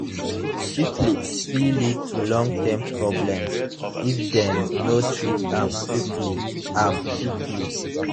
syphilis fit lead to long term problems if dem no treat am quickly am quickly